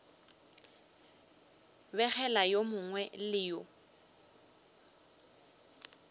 begela yo mongwe le yo